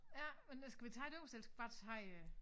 Ja men det skal vi tage det øverste eller skal vi bare tage